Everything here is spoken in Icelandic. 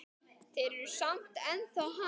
Þeir eru samt ennþá hann.